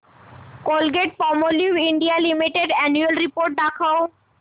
Colgate Palmolive India limited annual report दाखव